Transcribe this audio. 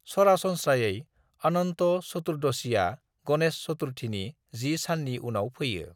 सरासनस्रायै अनन्त चतुर्दशीआ गणेश चतुर्थीनि 10 साननि उनाव फैयो।